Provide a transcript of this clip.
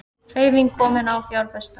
Hreyfing komin á fjárfesta